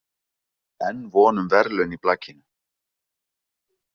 Enn von um verðlaun í blakinu